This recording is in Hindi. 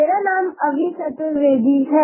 मेरा नाम अभि चतुर्वेदी है